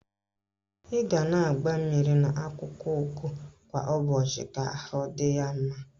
I ga na agba mmiri na akwụkwọ ugu kwa ụbọchị ka ahụ dị ya mma.